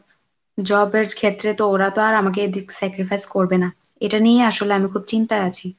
job এর ক্ষেত্রে তো ওরা তো আর আমাকে এদিক sacrifice করবে না, এটা নিয়েই আসলে আমি খুব চিন্তায় আছি।